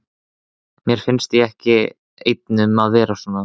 Mér finnst ég ekki einn um að vera svona